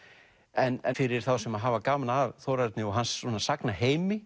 en fyrir þá sem hafa gaman af Þórarni og hans